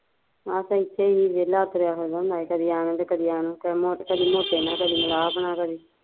ਮਸਾਂ ਇੱਥੇ ਸੀ ਵੇਹਲਾ ਤੁਰਿਆ ਫਿਰਦਾ ਹੁੰਦਾ ਸੀ ਕਦੀ ਐ ਨੂੰ ਤੇ ਕਦੇ ਐ ਨੂੰ ਕਦੇ ਮੋਟੇ ਨਾਲ਼ ਕਦੀ ਸਲਾਹ ਬਣਾ ਕਦੀ